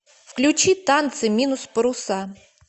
включи танцы минус паруса